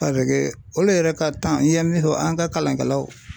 olu yɛrɛ ka n ye min fɔ an ka kalankɛlaw